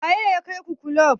Waye ya kai ku kulub?